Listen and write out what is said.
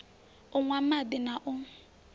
u nwa madi na u